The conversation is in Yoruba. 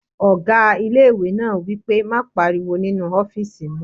Ọgá ilé-ìwé náà wí pé "má pariwo nínu ọ́fìsì mi!"